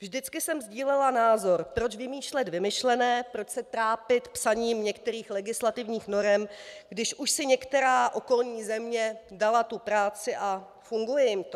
Vždycky jsem sdílela názor, proč vymýšlet vymyšlené, proč se trápit psaním některých legislativních norem, když už si některá okolní země dala tu práci a funguje jim to.